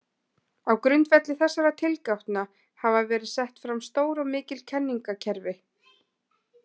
Á grundvelli þessara tilgátna hafa verið sett fram stór og mikil kenningakerfi.